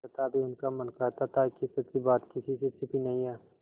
तथापि उनका मन कहता था कि सच्ची बात किसी से छिपी नहीं है